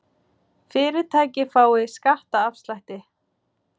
Fyrirtæki fái skattaafslætti